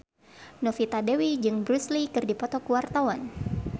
Novita Dewi jeung Bruce Lee keur dipoto ku wartawan